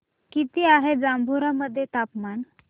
किती आहे जांभोरा मध्ये तापमान